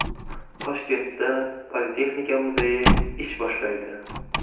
Toshkentda Politexnika muzeyi ish boshlaydi.